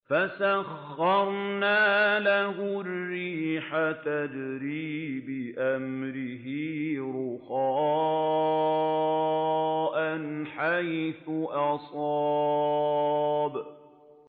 فَسَخَّرْنَا لَهُ الرِّيحَ تَجْرِي بِأَمْرِهِ رُخَاءً حَيْثُ أَصَابَ